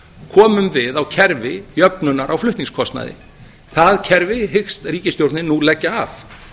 komum við á kerfi jöfnunar á flutningskostnaði það kerfi hyggst ríkisstjórnin nú leggja af